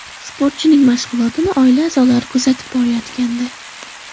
Sportchining mashg‘ulotini oila a’zolari kuzatib borayotgandi.